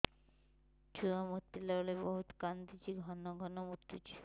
ଛୁଆ ମୁତିଲା ବେଳେ ବହୁତ କାନ୍ଦୁଛି ଘନ ଘନ ମୁତୁଛି